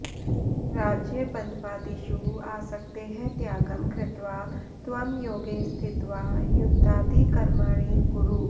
राज्यबन्ध्वादिषु आसक्तेः त्यागं कृत्वा त्वं योगे स्थित्वा युद्धादिकर्माणि कुरु